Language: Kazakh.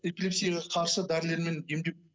эпилепсияға қарсы дәрілермен емдеп